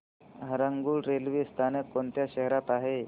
Harangul railway स्थानक कोणत्या शहरात आहे